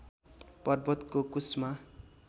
पर्वतको कुस्मा